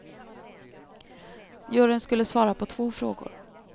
Juryn skulle svara på två frågor.